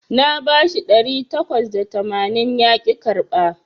Na bashi ɗari takwas da tamanin yaƙi karɓa